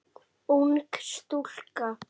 Ung stúlka.